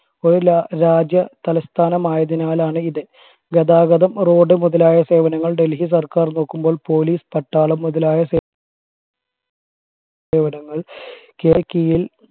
ഒരു ര രാജ്യ തലസ്ഥാനം ആയതിനാൽ ആണ് ഇത് ഗതാഗതം റോഡ് മുതലായ സേവനങ്ങൾ ഡൽഹി സർക്കാർ നോക്കുമ്പോൾ പോലീസ് പട്ടാളം മുതലായ സേ സേവനങ്ങൾ കീഴിൽ